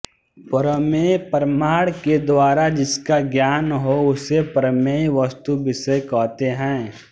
प्रमेय प्रमाण के द्वारा जिसका ज्ञान हो उसे प्रमेय वस्तुविषय कहते हैं